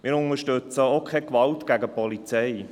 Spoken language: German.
Wir unterstützen auch keine Gewalt gegen die Polizei.